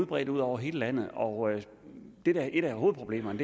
bredt ud over hele landet og et af hovedproblemerne